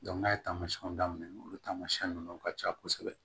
n'a ye taamasiyɛnw daminɛ olu taamasiyɛn ninnu ka ca kosɛbɛ